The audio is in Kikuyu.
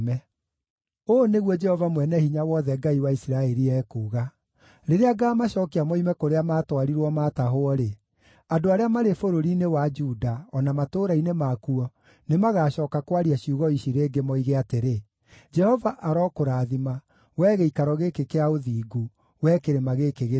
Ũũ nĩguo Jehova Mwene-Hinya-Wothe, Ngai wa Isiraeli, ekuuga: “Rĩrĩa ngaamacookia moime kũrĩa maatwarirwo maatahwo-rĩ, andũ arĩa marĩ bũrũri-inĩ wa Juda o na matũũra-inĩ makuo nĩmagacooka kwaria ciugo ici rĩngĩ, moige atĩrĩ: ‘Jehova arokũrathima, wee gĩikaro gĩkĩ kĩa ũthingu, wee kĩrĩma gĩkĩ gĩtheru.’